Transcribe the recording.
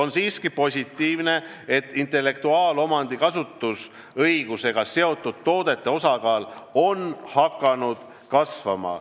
On siiski positiivne, et intellektuaalomandi kasutusõigusega seotud toodete osakaal on hakanud kasvama.